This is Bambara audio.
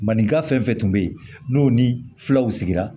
Maninka fɛn fɛn tun bɛ yen n'o ni filaw sigira